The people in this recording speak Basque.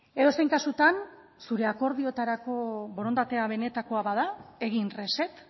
edozein kasutan zure akordioetarako borondatea benetakoa bada egin reset